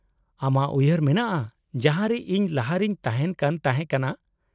-ᱟᱢᱟᱜ ᱩᱭᱦᱟᱹᱨ ᱢᱮᱱᱟᱜᱼᱟ ᱡᱟᱦᱟᱸ ᱨᱮ ᱤᱧ ᱞᱟᱦᱟ ᱨᱮᱧ ᱛᱟᱦᱮᱱ ᱠᱟᱱ ᱛᱟᱦᱮᱸ ᱠᱟᱱᱟ ?